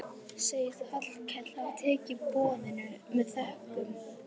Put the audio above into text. Sagðist Hallkell hafa tekið boðinu með þökkum.